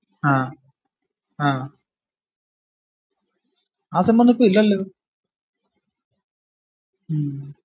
ആഹ് ആഹ് അതൊന്നു ഇപ്പൊ ഇല്ലാലോ